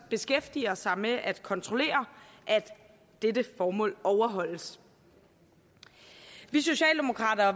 beskæftiger sig med at kontrollere at dette formål overholdes vi socialdemokrater